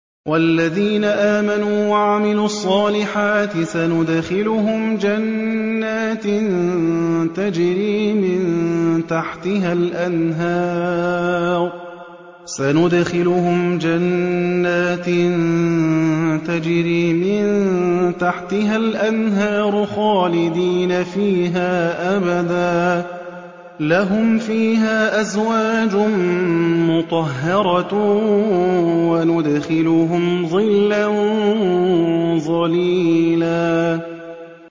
وَالَّذِينَ آمَنُوا وَعَمِلُوا الصَّالِحَاتِ سَنُدْخِلُهُمْ جَنَّاتٍ تَجْرِي مِن تَحْتِهَا الْأَنْهَارُ خَالِدِينَ فِيهَا أَبَدًا ۖ لَّهُمْ فِيهَا أَزْوَاجٌ مُّطَهَّرَةٌ ۖ وَنُدْخِلُهُمْ ظِلًّا ظَلِيلًا